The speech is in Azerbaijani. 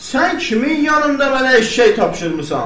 Sən kimin yanında mənə eşşək tapşırmısan?